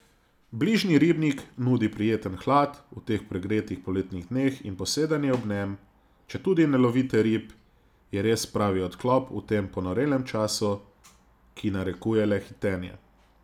Bližnji ribnik nudi prijeten hlad v teh pregretih poletnih dneh in posedanje ob njem, četudi ne lovite rib, je res pravi odklop v tem ponorelem času, ki narekuje le hitenje.